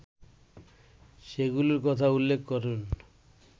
সেগুলোর কথা উল্লেখ করেন